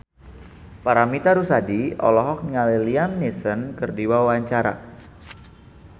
Paramitha Rusady olohok ningali Liam Neeson keur diwawancara